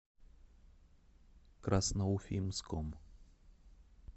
красноуфимском